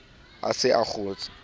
a se a a kgotshe